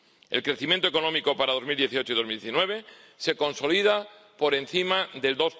El crecimiento económico para 2018 y 2019 se consolida por encima del